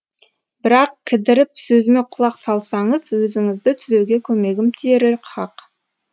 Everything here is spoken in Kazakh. бірақ кідіріп сөзіме құлақ салсаңыз өзіңізді түзеуге көмегім тиері хақ